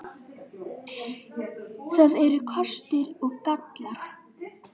Það eru kostir og gallar.